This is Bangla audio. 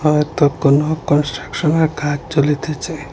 হয়তো কোনো কনস্ট্রাকশনের কাজ চলিতেচে।